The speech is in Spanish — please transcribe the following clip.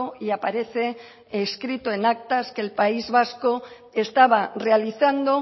y aparece escrito en actas que el país vasco estaba realizando